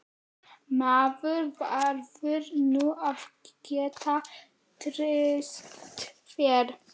Maður verður nú að geta treyst þér!